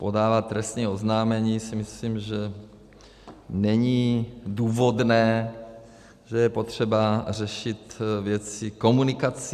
Podávat trestní oznámení si myslím, že není důvodné, že je potřeba řešit věci komunikací.